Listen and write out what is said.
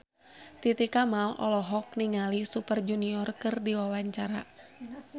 Titi Kamal olohok ningali Super Junior keur diwawancara